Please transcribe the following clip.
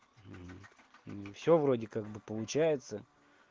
всё вроде как бы получается